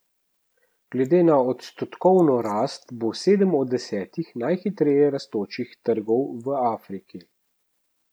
Glede na odstotkovno rast bo sedem od desetih najhitreje rastočih trgov v Afriki.